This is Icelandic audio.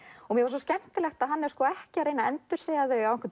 svo skemmtilegt að hann er ekki að reyna að endursegja þau á einhvern